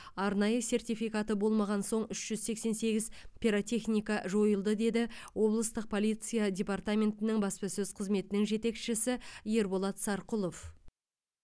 арнайы сертификаты болмаған соң үш жүз сексен сегіз пиротехника жойылды деді облыстық полиция департаментінің баспасөз қызметінің жетекшісі ерболат сарқұлов